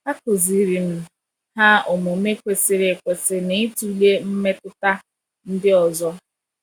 A kụziiri m ha omume kwesịrị ekwesị na ịtụle mmetụta ndị ọzọ.